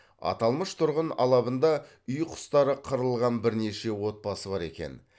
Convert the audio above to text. аталмыш тұрғын алабында үй құстары қырылған бірнеше отбасы бар екен